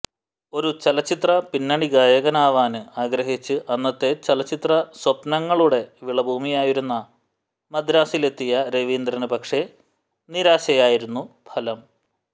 ഒരു ചലച്ചിത്ര പിന്നണി ഗായകനാവാന് ആഗ്രഹിച്ച് അന്നത്തെ ചലച്ചിത്ര സ്വപ്നങ്ങളുടെ വിളഭൂമിയായിരുന്ന മദ്രാസിലെത്തിയ രവീന്ദ്രന് പക്ഷേ നിരാശയായിരുന്നു ഫലം